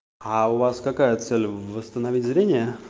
а у вас какая цель восстановить зрение